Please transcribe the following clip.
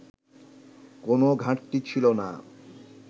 কোনো ঘাটতি ছিল না